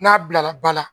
N'a bilara ba la